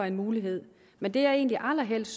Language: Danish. en mulighed men det jeg egentlig allerhelst